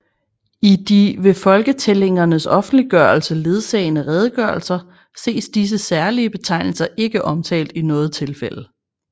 I de ved folketællingernes offentliggørelse ledsagende redegørelser ses disse særlige betegnelser ikke omtalt i noget tilfælde